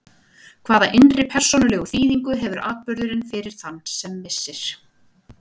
Hvaða innri persónulegu þýðingu hefur atburðurinn fyrir þann sem missir?